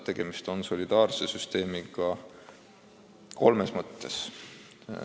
Tegemist on solidaarse süsteemiga kolmes mõttes.